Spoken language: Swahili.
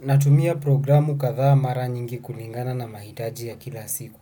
Natumia programu kadhaa mara nyingi kulingana na mahitaji ya kila siku.